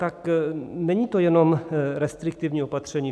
Tak není to jenom restriktivní opatření.